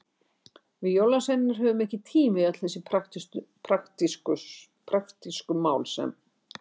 Við jólasveinarnir höfum ekki tíma í öll þessi praktísku mál sem.